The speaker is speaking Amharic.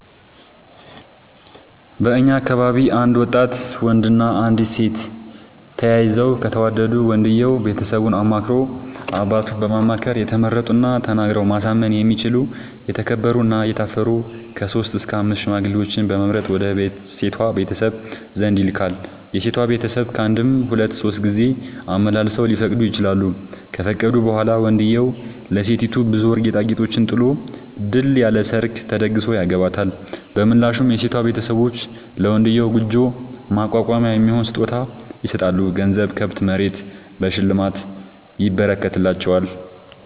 በእኛ አካባቢ አንድ ወጣት ወንድ እና አንዲት ሴት ተያይተው ከተወዳዱ ወንድየው ቤተሰቡን አማክሮ አባቱን በማማከር የተመረጡና ተናግረው ማሳመን የሚችሉ የተከበሩ እና የታፈሩ ከሶስት እስከ አምስት ሽማግሌዎችን በመምረጥ ወደ ሴቷ ቤተሰብ ዘንድ ይልካል። የሴቷ ቤተሰብ ካንድም ሁለት ሶስት ጊዜ አመላልሰው ሊፈቅዱ ይችላሉ። ከፈቀዱ በኋላ ወንድዬው ለሴቲቱ ብዙ ወርቅ ጌጣጌጦችን ጥሎ ድል ያለ ሰርግ ተደግሶ ያገባታል። በምላሹ የሴቷ ቤተሰቦች ለመንድዬው ጉጆ ማቋቋሚያ የሚሆን ስጦታ ይሰጣሉ ገንዘብ፣ ከብት፣ መሬት በሽልማት ይረከትላቸዋል።